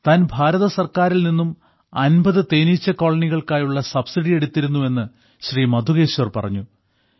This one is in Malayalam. താൻ ഭാരത സർക്കാരിൽ നിന്നും 50 തേനീച്ച കോളനികൾക്കായുള്ള സബ്സിഡി എടുത്തിരുന്നു എന്ന് ശ്രീ മധുകേശ്വർ പറഞ്ഞു